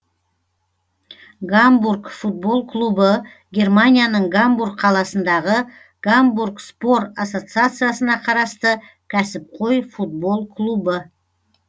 гамбург футбол клубы германияның гамбург қаласындағы гамбург спор ассоциациясына қарасты кәсіпқой футбол клубы